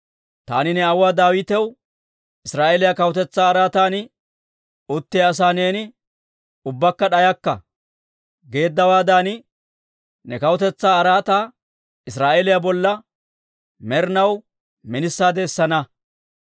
taani ne aawuwaa Daawitaw, ‹Israa'eeliyaa kawutetsaa araatan uttiyaa asaa neeni ubbakka d'ayakka› geeddawaadan, ne kawutetsaa araataa Israa'eeliyaa bolla med'inaw minisaade essana.